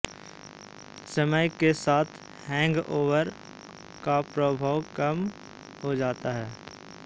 समय के साथ हैंगओवर का प्रभाव कम होता जाता है